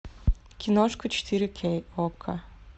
киношка четыре кей окко